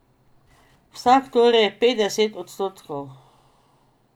Vsak torej petdeset odstotkov.